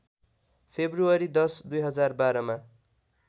February १० २०१२‎ मा